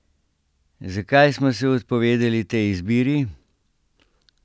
Zakaj smo se odpovedali tej izbiri?